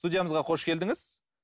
студиямызға қош келдіңіз